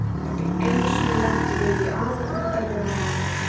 Einu sinni lentum við í afar undarlegu máli.